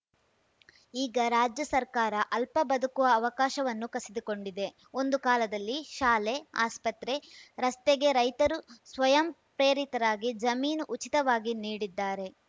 ಈಗ ರಾಜ್ಯ ಸರ್ಕಾರ ಅಲ್ಪ ಬದುಕುವ ಅವಕಾಶವನ್ನೂ ಕಸಿದುಕೊಂಡಿದೆ ಒಂದು ಕಾಲದಲ್ಲಿ ಶಾಲೆ ಆಸ್ಪತ್ರೆ ರಸ್ತೆಗೆ ರೈತರು ಸ್ವಯಂ ಪ್ರೇರಿತರಾಗಿ ಜಮೀನು ಉಚಿತವಾಗಿ ನೀಡಿದ್ದಾರೆ